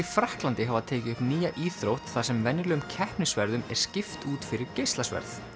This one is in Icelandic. Frakklandi hafa tekið upp nýja íþrótt þar sem venjulegum er skipt út fyrir geislasverð